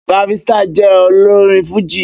Barrister jẹ́ olórin fújì